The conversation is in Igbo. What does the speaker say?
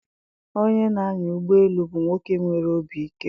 onye na-anya ụgbọelu bụ nwoke nwere obi ike.